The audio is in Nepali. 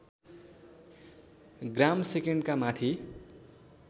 ग्रामसेकन्डका माथि